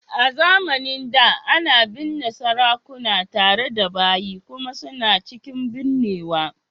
A zamanin da, ana binne sarakuna tare da bayi kuma suna cikin binnewa